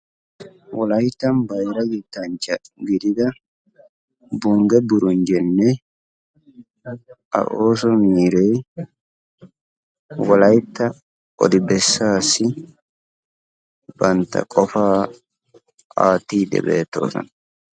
Wolayttan bayra yettanchcha gidida bunge burunjjeenne a ooso miiree wolaytta odi bessaassi bantta qofaa aattiid bessoosona.